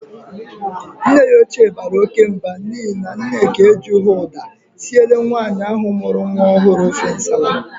Nne ya ochie bara oke Mba n'ihi na Nneka ejighi uda sire nwaanyi ahu muru nwa ohuru ofe nsala.